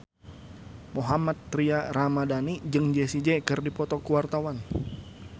Mohammad Tria Ramadhani jeung Jessie J keur dipoto ku wartawan